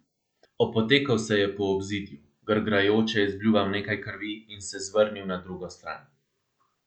Opotekel se je po obzidju, grgrajoče izbljuval nekaj krvi in se zvrnil na drugo stran.